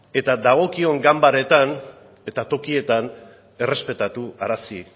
eta dagokion ganbaratan eta tokietan errespetarazi